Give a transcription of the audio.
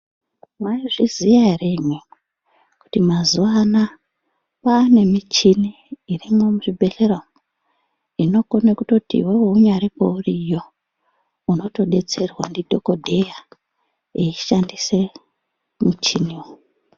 Mwaizviziya ere imwimwi kuti mazuwa anaa kwaane michini irimwo muzvibhedhlera umu inokona kutoti iwewe unyaro kweuriyo unotodetserwa ndidhokodheya eishandise michiniwo.